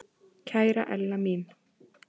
Kæra Ella mín.